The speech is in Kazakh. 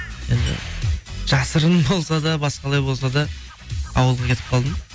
енді жасырын болса да басқалай болса да ауылға кетіп қалдым